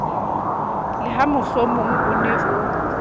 le hamohlomong o ne o